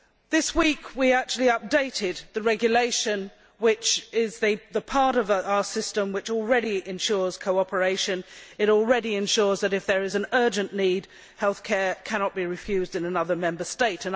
This week, we actually updated the regulation that is the part of our system that already ensures cooperation and already ensures that, if there is an urgent need, health care cannot be refused in another Member State.